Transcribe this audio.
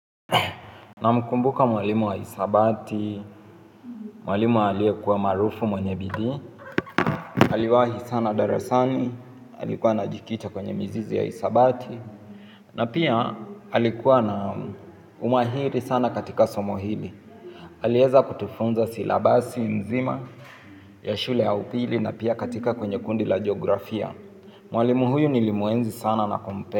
Namkumbuka mwalimu wa hisabati, mwalimu aliyekuwa maarufu mwenye bidii, aliwahi sana darasani, alikuwa anajikita kwenye mizizi ya hisabati, na pia alikuwa na umahiri sana katika somo hili. Aliweza kutufunza silabasi mzima, ya shule ya upili na pia katika kwenye kundi la jografia. Mwalimu huyu nilimuenzi sana na kumpenda.